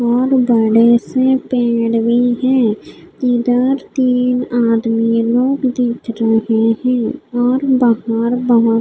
और बड़े से पेड़ भी है इधर तीन आदमी लोग दिख रहे है और बहार बहुत --